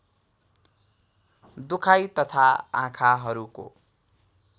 दुखाइ तथा आँखाहरूको